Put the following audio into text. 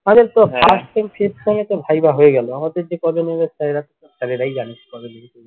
তো viva হয়ে গেলো আমাদের যে কবে নিবে এরাই জানে কবে নিবে